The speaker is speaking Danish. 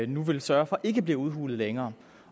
nu vil sørge for ikke bliver udhulet længere